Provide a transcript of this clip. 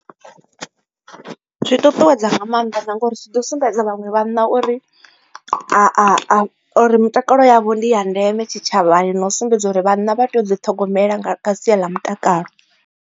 Zwi ṱuṱuwedza nga maanḓa na ngori zwi ḓi sumbedza vhaṅwe vhanna uri a a a uri mutakalo yavho ndi ya ndeme tshitshavhani na u sumbedza uri vhanna vha tea u ḓi ṱhogomela nga kha sia ḽa mutakalo.